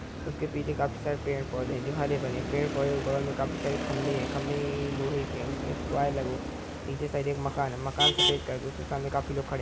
उसके पीछे काफी सारे पेड़-पौधे हैं जो हरे-भरे हैं। पेड़-पौधे के बगल में काफी सारे खम्बे हैं। खंभे लोहे के हैं उसमे वायर लगा हुआ है नीचे साइड एक मकान है। मकान सफ़ेद कलर का है उसके सामने काफी लोग खड़े हैं।